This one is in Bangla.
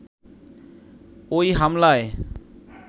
ওই হামলায়